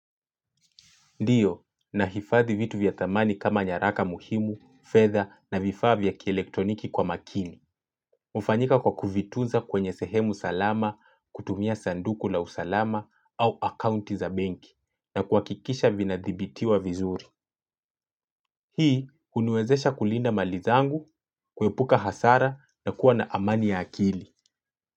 Ndiyo, nahifadhi vitu vya thamani kama nyaraka muhimu, fedha na vifaa vya kielekroniki kwa makini. Hufanyika kwa kuvitunza kwenye sehemu salama, kutumia sanduku la usalama au akaunti za benki na kuhakikisha vina dhibitiwa vizuri. Hii, huniwezesha kulinda mali zangu, kuepuka hasara na kuwa na amani ya akili.